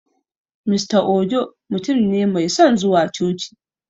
Mr Ojo mutun ne mai son zuwa coci